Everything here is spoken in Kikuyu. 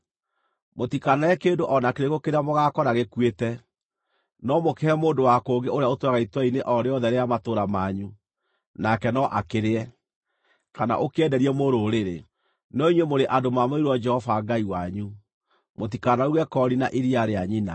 Mũtikanarĩe kĩndũ o na kĩrĩkũ kĩrĩa mũgaakora gĩkuĩte. No mũkĩhe mũndũ wa kũngĩ ũrĩa ũtũũraga itũũra-inĩ o rĩothe rĩa matũũra manyu, nake no akĩrĩe, kana ũkĩenderie mũrũrĩrĩ. No inyuĩ mũrĩ andũ maamũrĩirwo Jehova Ngai wanyu. Mũtikanaruge koori na iria rĩa nyina.